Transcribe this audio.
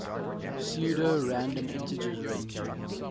pseudo random integers ranging